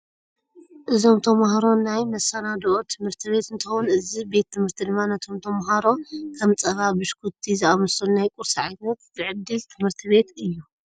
እዞም ታማሃሮ ወይ ናይ መሰናድኦ ትምህት ቤት እንትከውን እዚ ቤት ትምህርቲ ድማ ነቶም ተማሃሮ ከም ፀባ፣ ብሽኩቱ ዝኣምሰሉ ናይ ቁርሲ ዓይነት ዝዕድል ትምህርቲ ቤት እዩ።